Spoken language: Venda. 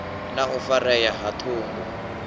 na u farea ha ṱhungu